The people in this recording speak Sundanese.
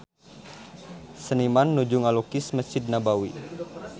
Seniman nuju ngalukis Mesjid Nabawi